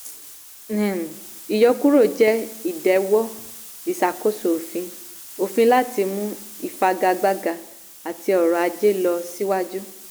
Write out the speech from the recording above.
um ìyọkúrò jẹ́ ìdẹ̀wọ́ ìṣàkóso òfin òfin láti mú ìfagagbága àti ọrọ̀ ajé lọ siwájú.